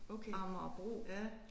Okay ja